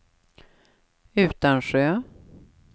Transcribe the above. Utansjö